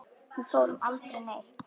Við fórum aldrei neitt.